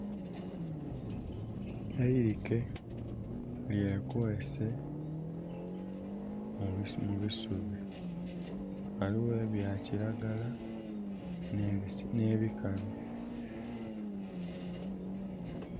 Eilike lyekweese mu bisubi. Ghaligho ebya kiragala, n'ebikalu.